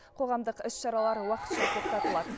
қоғамдық іс шаралар уақытша тоқтатылады